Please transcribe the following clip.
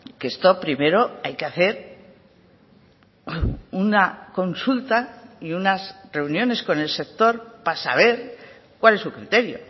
que esto primero hay que hacer una consulta y unas reuniones con el sector para saber cuál es su criterio